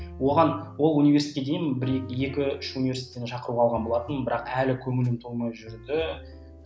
оған ол университетке дейін бір екі үш университеттен шақыру алған болатынмын бірақ әлі көңілім толмай жүрді